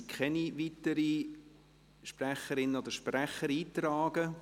Es sind keine weiteren Sprecherinnen oder Sprecher eingetragen.